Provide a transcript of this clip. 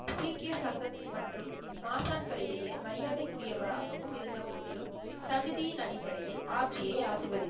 சீக்கிய சங்கம் மற்றும் மாசான்கள் இடையே மரியாதைக்குரியவராகவும் இருந்தபோதிலும் தகுதியின் அடிபடையில் ஹாப்ஜியை ஆசிர்வதித்தார்.